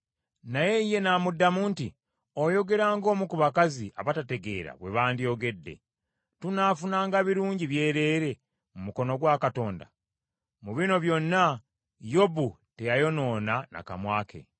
Naye ye n’amuddamu nti, “Oyogera ng’omu ku bakazi abatategeera bwe bandyogedde! Tunaafunanga birungi byereere mu mukono gwa Katonda?” Mu bino byonna Yobu teyayonoona na kamwa ke.